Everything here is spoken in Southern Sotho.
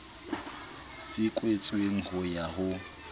se kwetsweng ho ya ho